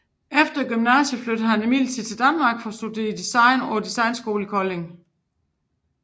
Efter gymnasiet flyttede han imidlertid til Danmark for at studere design på Designskolen i Kolding